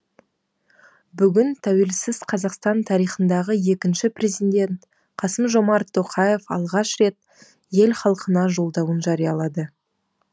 бүгін тәуелсіз қазақстан тарихындағы екінші президент қасым жомарт тоқаев алғаш рет ел халқына жолдауын жариялады